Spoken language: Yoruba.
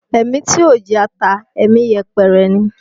Ẹ̀mí tí ò jata, ẹ̀mí yẹpẹrẹ ni